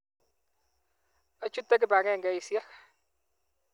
Achute kipakengeisyek.